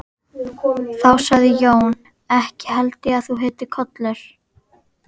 Þá sagði Jón: Ekki held ég að þú heitir Kollur.